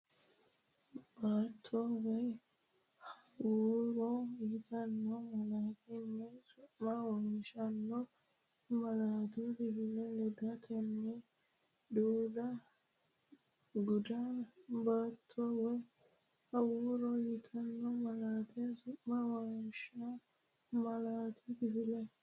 Baatto woy hawuura yitanno malaatta su’mu wonshaano malaatu kifile ledatenni guda Baatto woy hawuura yitanno malaatta su’mu wonshaano malaatu kifile.